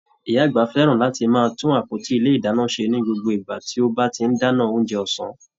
Ìyá àgbà fẹ́ràn láti máa tún àpótí ilé ìdáná ṣe ní gbogbo ìgbà tí ó bá ti dáná oúnjẹ ọ̀sán.